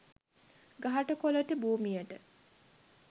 ගහට කොළට භූමියට